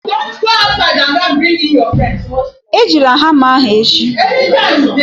Ejila hama ahụ echi